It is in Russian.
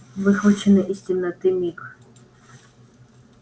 выхваченный из темноты миг